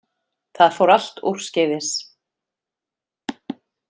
Það fór allt úrskeiðis